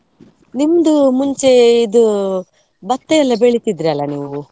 ನಿಮ್ದು ಮುಂಚೆ ಇದು ಭತ್ತ ಎಲ್ಲ ಬೆಳೆತಿದ್ರಲ್ಲಾ ನೀವು?